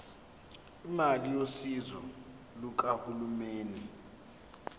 imali yosizo lukahulumeni